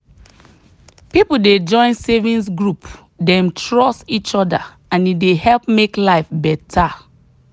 people dey join savings group dem trust each other and e dey help make life better.